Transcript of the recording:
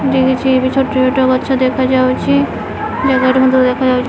ଛୋଟ ଛୋଟ ଗଛ ଦେଖା ଯାଉଚି ।